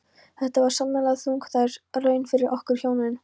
Þetta var sannarlega þungbær raun fyrir okkur hjónin.